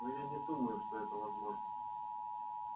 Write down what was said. но я не думаю что это возможно